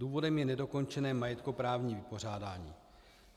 Důvodem je nedokončené majetkoprávní vypořádání.